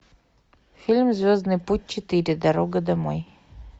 фильм звездный путь четыре дорога домой